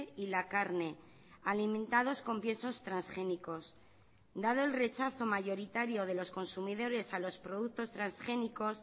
y la carne alimentados con piensos transgénicos dado el rechazo mayoritario de los consumidores a los productos transgénicos